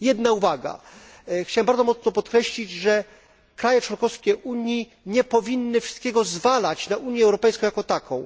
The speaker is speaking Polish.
Jedna uwaga chciałbym bardzo mocno podkreślić, że kraje członkowskie Unii nie powinny wszystkiego zwalać na Unię Europejską, jako taką.